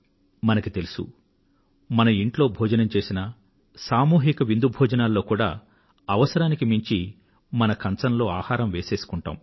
మనకు తెలుసు మనం ఇంట్లో భోజనం చేసినా సామూహిక విందు భోజనాల్లో కూడా అవసరానికి మించి మన కంచంలో ఆహారం వేసేసుకుంటాం